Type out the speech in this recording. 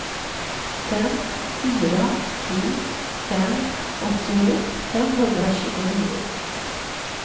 fem fyra sju fem åttioett femhundratjugonio